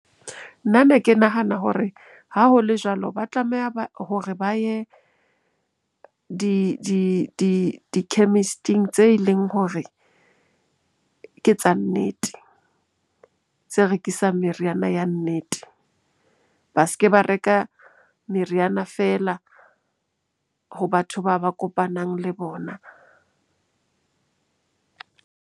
Nna ne ke nahana hore ha ho le jwalo ba tlameha hore ba ye di-chemist-ing tse leng hore ke tsa nnete, tse rekisang meriana ya nnete. Ba se ke ba reka meriana feela ho batho bao ba kopanang le bona.